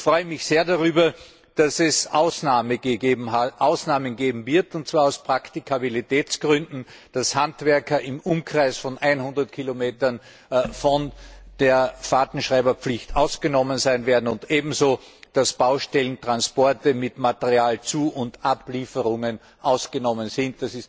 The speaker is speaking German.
Ich freue mich sehr darüber, dass es Ausnahmen geben wird, und zwar aus Praktikabilitätsgründen, nämlich dass Handwerker im Umkreis von 100 Kilometern von der Fahrtenschreiberpflicht ausgenommen sein werden, und ebenso dass Baustellentransporte mit Materialzu und ablieferungen ausgenommen sind.